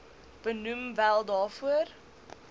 benoem wel daarvoor